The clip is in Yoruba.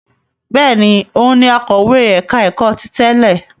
Bẹ́ẹ̀ ni, òun ni akọ̀wé ẹ̀ka-ẹ̀kọ́ ti tẹ́lẹ̀.